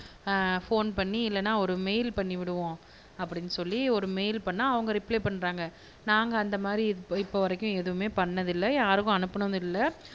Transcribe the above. ஆஹ் phone பண்ணி இல்லனா ஒரு மெய்ல் பண்ணி விடுவோம் அப்படினு சொல்லி ஒரு மெய்ல் பண்ணா அவங்க ரிப்ளே பண்றாங்க நாங்க அந்த மாதிரி இப் இப்போ வரைக்கும் எதுவுமே பண்ணது இல்ல யாருக்கும் அனுப்புனதும் இல்ல